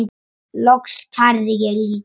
Loks kærði ég líka.